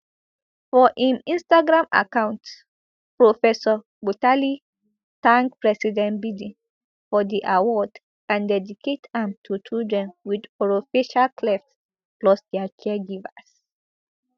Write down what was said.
for im instagram account professor butali thank president biden for di award and dedicate am to children wit orofacial clefts plus dia caregivers